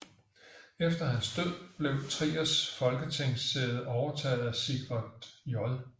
Efter hans død blev Triers folketingssæde overtaget af Sigvard J